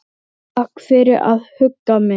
Takk fyrir að hugga mig.